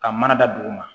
Ka mana da dugu ma